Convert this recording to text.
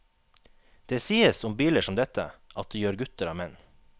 Det sies om biler som dette, at de gjør gutter av menn.